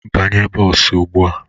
Banye bọs ugbu a!